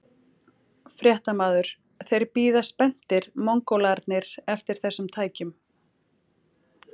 Fréttamaður: Þeir bíða spenntir, Mongólarnir eftir þessum tækjum?